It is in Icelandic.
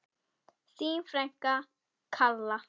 Þín frænka, Kalla.